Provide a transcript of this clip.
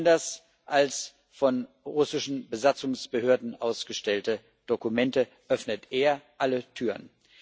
Anders als von russischen Besatzungsbehörden ausgestellte Dokumente öffnet er alle Türen.